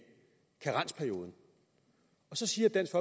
karensperioden og så siger dansk